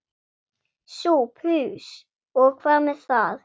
SOPHUS: Og hvað með það?